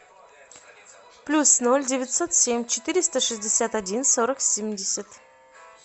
плюс ноль девятьсот семь четыреста шестьдесят один сорок семьдесят